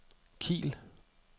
Kiel